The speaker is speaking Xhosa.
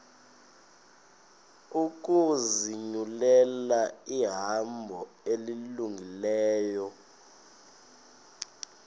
ukuzinyulela ihambo elungileyo